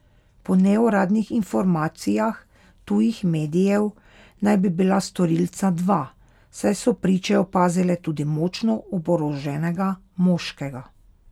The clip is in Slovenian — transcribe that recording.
Po neuradnih informacijah tujih medijev naj bi bila storilca dva, saj so priče opazile tudi močno oboroženega moškega.